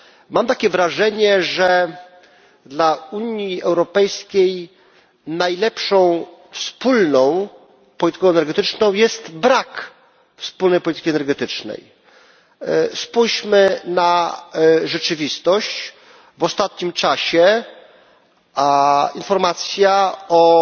Mam takie wrażenie, że dla Unii Europejskiej najlepszą wspólną polityką energetyczną jest brak wspólnej polityki energetycznej. Spójrzmy na rzeczywistość w ostatnim czasie informacja o